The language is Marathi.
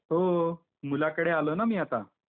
हो .. मुलाकडे आलो न मी आता.